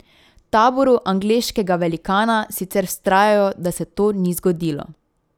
V taboru angleškega velikana sicer vztrajajo, da se to ni zgodilo.